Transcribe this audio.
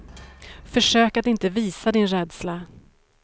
Försök att inte visa din rädsla.